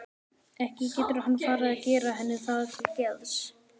Ekki getur hann farið að gera henni það til geðs?